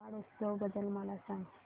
मेवाड उत्सव बद्दल मला सांग